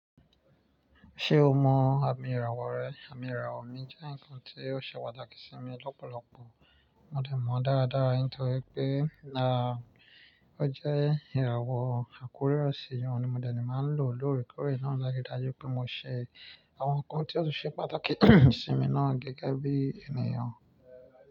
Ṣé o mọ àmì ìràwọ̀ rẹ? Àmì ìràwọ̀ mi jẹ́ ǹkan tí ó ṣe pàtàkì sí mi lọ́pọ̀lọpọ̀. Mo dẹ̀mọ̀ dáradára, nítorí pé náà ó jẹ́ ìràwọ̀ àkóríra sí i, ohun ni mòdẹ máa ń lò lóòrèkóòrè náà láti dájú pé mo ṣe àwọn ǹkan tí ó ṣe pàtàkì sí mi náà gẹ́gẹ́ bí ènìyàn.